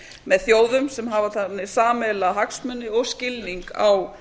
með þjóðum sem hafa sameiginlega hagsmuni eða skilning á